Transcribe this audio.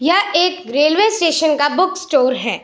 यह एक railway station का बुक स्टोर है।